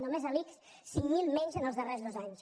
només a l’ics cinc mil menys en els darrers dos anys